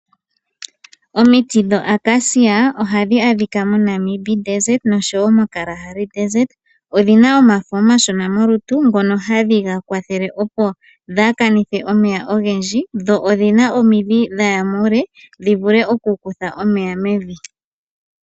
Omiti dhomiyalakasha ohadhi adhika moNamib desert nosho wo mo Kalahari desert. Odhi na omafo omashona molutu ngono hadhi ga kwathele opo dhaa kanithe omeya ogendji. Dho odhina omidhi dhaya muule dhi vule oku kutha omeya mevi.